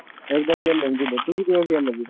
एकदाच गेलोय मी तिथं. तू किती वेळा गेला तिथं?